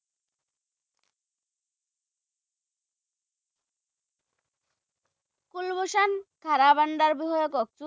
থাৰা বান্দাৰ বিষয়ে কওকচোন